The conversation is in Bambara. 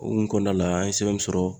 Okumu kɔnɔn na an ye sɛbɛn mun sɔrɔ.